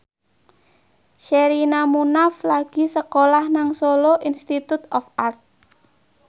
Sherina Munaf lagi sekolah nang Solo Institute of Art